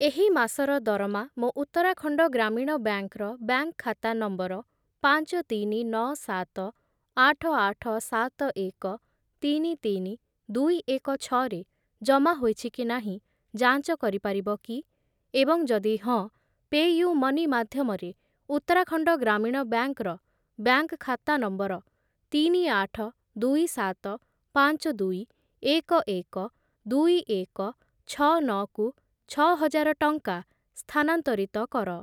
ଏହି ମାସର ଦରମା ମୋ ଉତ୍ତରାଖଣ୍ଡ ଗ୍ରାମୀଣ ବ୍ୟାଙ୍କ୍‌ ର ବ୍ୟାଙ୍କ୍‌‌ ଖାତା ନମ୍ବର ପାଞ୍ଚ, ତିନି, ନଅ, ସାତ, ଆଠ, ଆଠ, ସାତ, ଏକ, ତିନି, ତିନି, ଦୁଇ, ଏକ, ଛଅ ରେ ଜମା ହୋଇଛି କି ନାହିଁ ଯାଞ୍ଚ କରିପାରିବ କି? ଏବଂ ଯଦି ହଁ, ପେୟୁମନି ମାଧ୍ୟମରେ ଉତ୍ତରାଖଣ୍ଡ ଗ୍ରାମୀଣ ବ୍ୟାଙ୍କ୍‌ର ବ୍ୟାଙ୍କ୍‌‌ ଖାତା ନମ୍ବର ତିନି, ଆଠ, ଦୁଇ, ସାତ, ପାଞ୍ଚ, ଦୁଇ, ଏକ, ଏକ, ଦୁଇ, ଏକ, ଛଅ, ନଅ କୁ ଛଅ ହଜାର ଟଙ୍କା ସ୍ଥାନାନ୍ତରିତ କର ।